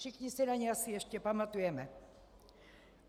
Všichni si na ni asi ještě pamatujeme.